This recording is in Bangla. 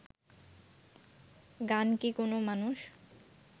গান কি কোনও মানুষ